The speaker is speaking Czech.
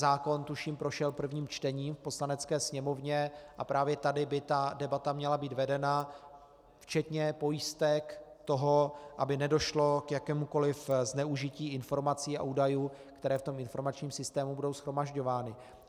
Zákon tuším prošel prvním čtením v Poslanecké sněmovně a právě tady by ta debata měla být vedena, včetně pojistek toho, aby nedošlo k jakémukoliv zneužití informací a údajů, které v tom informačním systému budou shromažďovány.